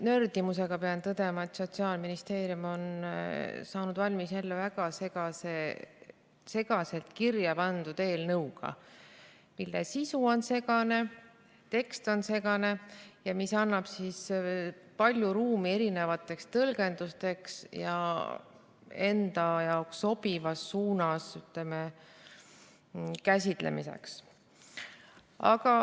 Nördimusega pean tõdema, et Sotsiaalministeerium on saanud jälle valmis väga segaselt kirja pandud eelnõu, mille sisu on segane, tekst on segane, mis jätab palju ruumi erinevateks tõlgendusteks ja enda jaoks sobivas suunas, ütleme, käsitlemiseks.